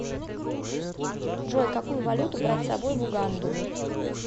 джой какую валюту брать с собой в уганду